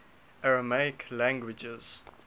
aramaic languages